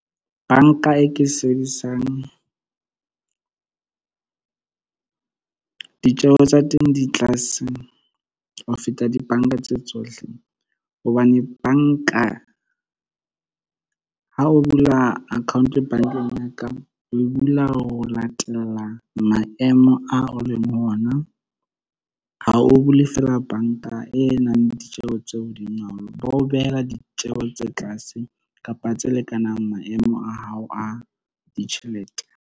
Bank-a e ke sebedisang ditjeho tsa teng di tlase ho feta di-bank-a tse tsohle. Hobane bank-a ha o bula account bank-eng ya ka o bula ho latela maemo a o leng ho ona. Ha o bule fela bank-a e nang ditjeho tseo o ba o behela ditjehelo tse tlase kapa tse lekanang maemo a hao a ditjhelete.